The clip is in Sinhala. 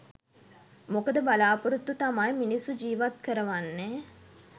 මොකද බලාපොරොත්තු තමයි මිනිස්සු ජීවත් කරවන්නේ